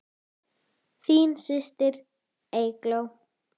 Þín systir, Eygló.